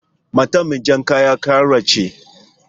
Matar mai jar kaya karuwa ce.